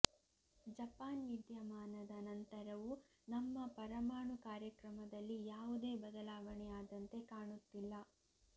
Japan ವಿದ್ಯಮಾನದ ನಂತರವೂ ನಮ್ಮ ಪರಮಾಣು ಕಾರ್ಯಕ್ರಮದಲ್ಲಿ ಯಾವುದೇ ಬದಲಾವಣೆ ಆದಂತೆ ಕಾಣುತ್ತಿಲ್ಲ